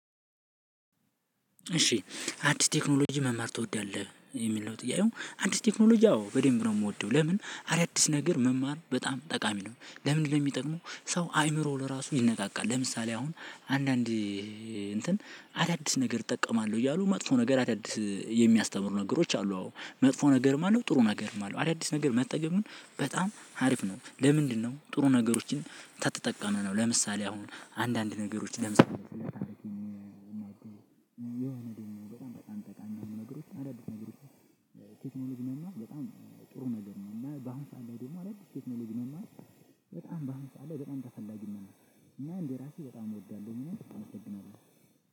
እሺ አዲስ ቴክኖሎጂ መማር ትወዳለህ የሚለው ጥያቄው አዲስ ቴክኖሎጂ አዎ በደንብ ነው የምወደው። ለምን አዳዲስ ነገር መማር በጣም ጠቃሚ ነው። ለምን ለሚጠቅመው ሰው አይምሮ ለራሱ ይነቃቃል። ለምሳሌ አሁን አንዳንድ እንትን አዳዲስ ነገር እጠቀማለሁ እያሉ መጥፎ ነገር አዳዲስ የሚያስተምሩ ነገሮች አሉ። አዎ መጥፎ ነገርም አለው ጥሩ ነገርም አለው። አዳዲስ ነገር መጠቀም በጣም አሪፍ ነው። ለምንድነው? ጥሩ ነገሮችን ተጠቅመን ነው። ለምሳሌ አሁን አንዳንድ ነገሮች ደግሞ በጣም በጣም ጠቃሚ ነው። ነገሮች አሉት ነገሮች ቴክኖሎጂ ነው። በጣም ጥሩ ነገር ነው። እና በአሁኑ ሰዓት ላይ ደግሞ አዳዲስ ቴክኖሎጂ መማር በጣም በዓሁኑ ሰዓት ላይ በጣም ተፈላጊ ነው። እና እንደ ራሴ በጣም እወዳለሁ። ምንም አመሰግናለሁ።